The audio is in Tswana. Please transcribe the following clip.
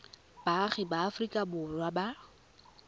baagi ba aforika borwa ba